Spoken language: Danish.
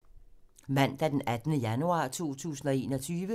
Mandag d. 18. januar 2021